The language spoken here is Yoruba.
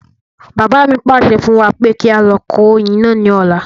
Bàbá mi pàṣẹ fún wa pé kí á lọ kó oyin náà ní ọ̀la